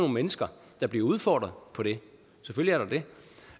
mennesker der bliver udfordret på det selvfølgelig